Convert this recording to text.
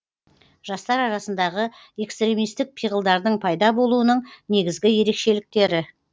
жастар арасындағы экстремистік пиғылдардың пайда болуының негізгі ерекшеліктері